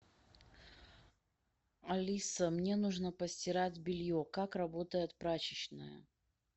алиса мне нужно постирать белье как работает прачечная